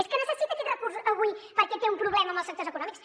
és que necessita aquest recurs avui perquè té un problema amb els sectors econòmics